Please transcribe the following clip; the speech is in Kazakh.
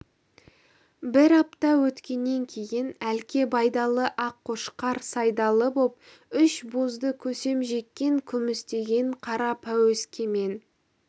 бір апта өткеннен кейін әлке байдалы аққошқар сайдалы боп үш бозды көсем жеккен күмістеген қара пәуескемен